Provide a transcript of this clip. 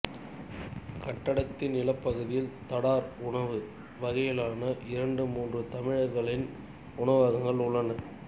கட்டடத்தின் நிலப்பகுதியில் தடார் உணவு வகையிலான இரண்டு மூன்று தமிழர்களின் உணவகங்களும் உள்ளன